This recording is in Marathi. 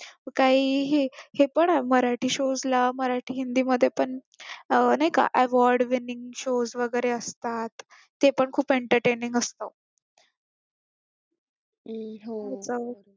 काहीही ते पण मराठी shows ला मराठी हिंदी मध्ये पण नाही का award winning shows असतात ते पण खूप entertaining असत